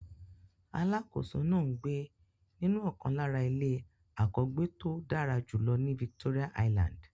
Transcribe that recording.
Alákòóso náà ń gbé nínú ọ̀kan lára ilé àkọ́gbéto dára jùlọ ní Victoria island.